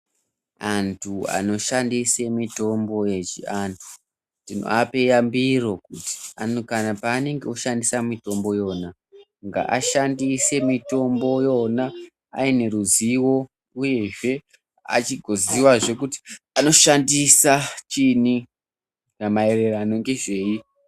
Antu anoshandise mutombo yechiantu tinoape yambiro kuti kana panenge oshandise mutombo yona ngavashandise mutombo yona aineruzivo uyezve agoziva kuti anoshandisa chini mairirano ngezvei.